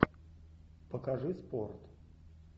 покажи спорт